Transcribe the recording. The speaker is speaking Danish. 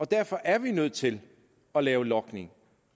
derfor er vi nødt til at lave logning